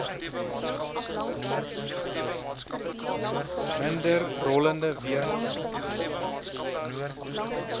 minder rollende weerstand